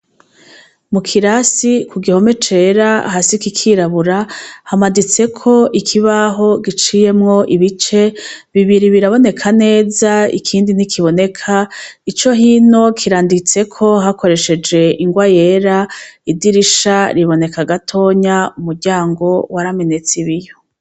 Mu kirasi ku gihome cera hasi kikirabura hamaditseko ikibaho giciyemwo ibice bibiri biraboneka neza ikindi ntikiboneka ico hino kiranditseko hakoresheje ingwa yera idirisha riboneka gatonya umuryango waramene tsi ibiyo.